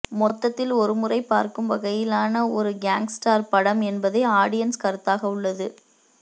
மொத்தத்தில் ஒருமுறை பார்க்கும் வகையிலான ஒரு கேங்ஸ்டர் படம் என்பதே ஆடியன்ஸ் கருத்தாக உள்ளது